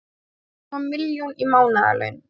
Með rúma milljón í mánaðarlaun